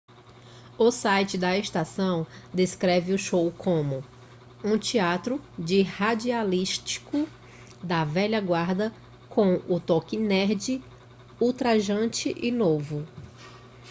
o site da estação descreve o show como um teatro de radialístico da velha guarda com um toque nerd ultrajante e novo